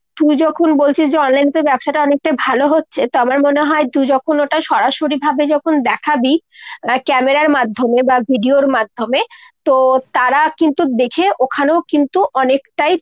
তুই যখন বলছিস যে online এ তোর ব্যবসাটা অনেকটাই ভালো হচ্ছে তো আমার মনে হয় যে তুই যখন ওটা সরাসরিভাবে যখন দেখাবি আ camera র মাধ্যমে বা video র মাধ্যমে তো তারা কিন্তু দেখে ওখানেও কিন্তু অনেকটাই